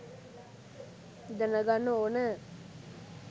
දැනගන්න ඕන